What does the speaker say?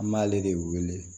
An b'ale de wele